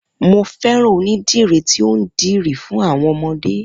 Mo fẹ́ràn onídìrí tí ó ń dirí fún àwọn ọmọdé.